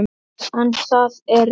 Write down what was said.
En það er rétt.